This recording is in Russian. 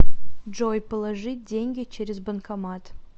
джой положить деньги через банкомат